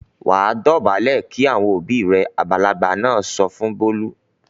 "Wà á dọ̀bálẹ̀ kí àwọn òbí rẹ!" Àgbàlagbà ọkùnrin náà sọ fún Bólú.